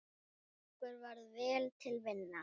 Okkur varð vel til vina.